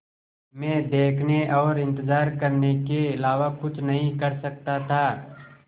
मैं देखने और इन्तज़ार करने के अलावा कुछ नहीं कर सकता था